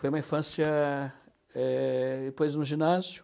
Foi uma infância, eh, depois no ginásio,